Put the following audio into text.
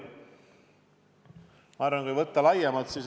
Ma arvan, et tuleb läheneda laiemalt.